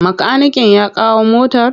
Makaniken ya kawo motar?